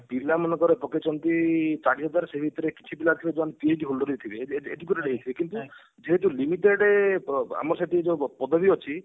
ପିଲା ମନେକର ପକେଇଛନ୍ତି ଚାରିହାଜର ସେଇ ଭିତରେ କିଛି ପିଲା ଥିବେ ଯୋଉମାନେ PhD holder ବି ଥିବେ ଏ educated ହେଇଥିବେ କିନ୍ତୁ ଜେହତୁ limited ଆମର ସେଠି ଯୋଉ ପଦବୀ ଅଛି